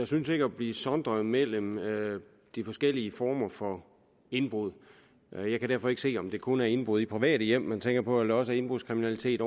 synes at blive sondret mellem de forskellige former for indbrud jeg kan derfor ikke se om det kun er indbrud i private hjem man tænker på eller også er indbrudskriminalitet